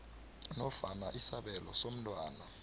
nofana isabelo somntwana